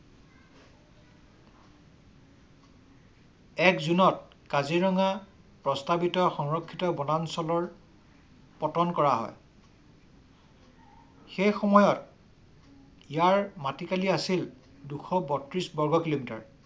এক জুনত কাজিৰঙা প্ৰস্তাৱিত সংৰক্ষিত বনাঞ্চলৰ পতন কৰা হয় । সেই সময়ৰ ইয়াৰ মাটিকালি আছিল দুশ বত্ৰিছ বগ কিলোমিটাৰ